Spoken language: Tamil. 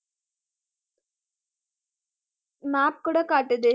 map கூட காட்டுது